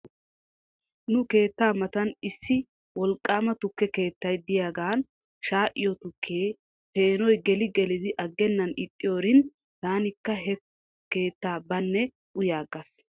Nu keetta matan issi wolqaama tukke keettay diyaagan shaa'iyoo tukiyaa peeno geli gelidi aggenan ixxiyoorin tankka hekke keettaa banne uyaagas.